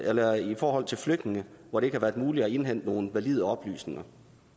eller i forhold til flygtninge hvor det ikke har været muligt at indhente nogle valide oplysninger